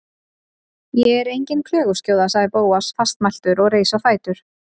Ég er engin klöguskjóða- sagði Bóas fastmæltur og reis á fætur.